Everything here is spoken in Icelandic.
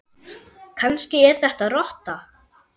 Kannski er þetta rotta?